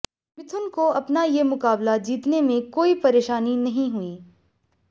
मिथुन को अपना ये मुकाबला जीतने में कोई परेशानी नहीं हुई